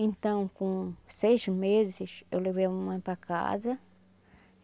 Então, com seis meses, eu levei a mamãe para casa.